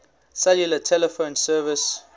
cellular telephone service